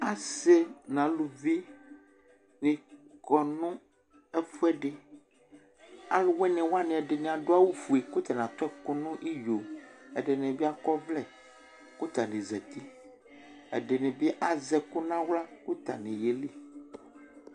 Asi nʋ aluvi nikɔ nʋ ɛfʋɛdɩ Aluwini wani ɛdɩnɩ adu awufue, kʋ atani atu ɛkʋ nʋ iyo Ɛdɩnɩ bɩ akɔ ɔvlɛ, kʋ atani zǝti Ɛdɩnɩ bɩ azɛ ɛkʋ nʋ aɣla kʋ atani yeli